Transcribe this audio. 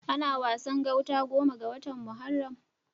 Ana Wasan gauta goma ga watan Muharram.